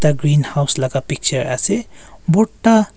ekta greenhouse laka picture ase borta--